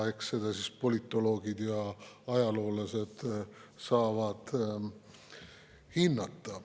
Eks siis politoloogid ja ajaloolased saavad seda hinnata.